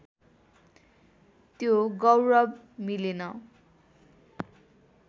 त्यो गौरव मिलेन